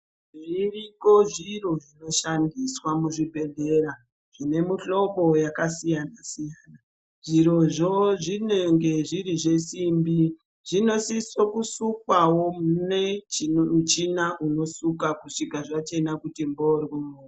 Zviriko zviro zvinoshandiswa muzvibhedhlera, zvine mihlobo yakasiyana siyana, zvirozvo zvinenge zviri zvesimbi, zvinosiso kusukwawo mune muchina unosuka kusvika zvachena kuti mborwo.